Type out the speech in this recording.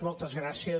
moltes gràcies